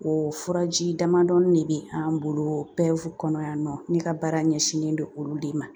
O furaji damadɔni de be an bolo PEV kɔnɔ yan nɔ ne ka baara ɲɛsinnen don olu de ma .